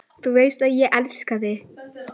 Þú veist að ég elska þig.